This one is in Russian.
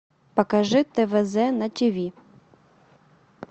покажи твз на тв